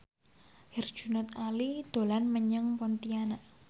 Herjunot Ali dolan menyang Pontianak